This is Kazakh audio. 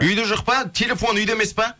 үйде жоқ па телефоны үйде емес па